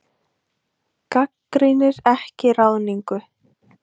Gagnrýnir ekki ráðningu